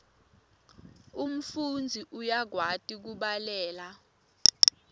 umfundzi uyakwati kubhalela